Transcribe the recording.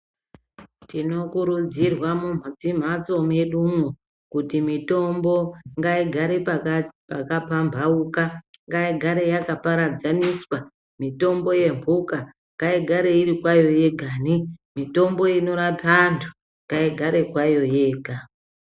Tinokurudzirwa mudzimhatso mwedumo kuti mitombo ngaigare pakapambauka ngaigare yakaparadzaniswa. Mitombo yemhuka ngaigare iri kwayo yegani, mitombo inorapa antu ngaigare kwayo yega.